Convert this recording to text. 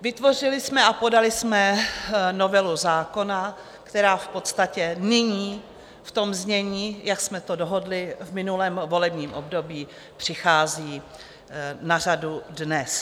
Vytvořili jsme a podali jsme novelu zákona, která v podstatě nyní v tom znění, jak jsme to dohodli v minulém volebním období, přichází na řadu dnes.